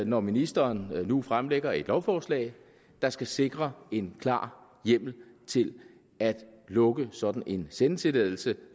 når ministeren nu fremsætter et lovforslag der skal sikre en klar hjemmel til at lukke sådan en sendetilladelse